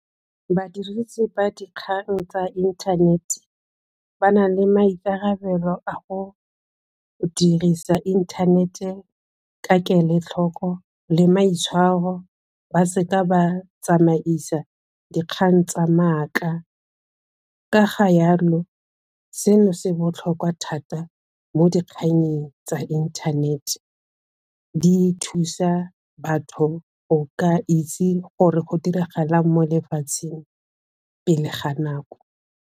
Badirisi ba dikgang tsa inthanete ba na le maikarabelo a go dirisa inthanete ka kelotlhoko le maitshwaro, ba se ka ba tsamaisa dikgang tsa maaka, ka ga jalo seno se botlhokwa thata mo dikgannyeng tsa inthanete, di thusa batho go ka itse gore go diragalang mo lefatsheng pele ga nako.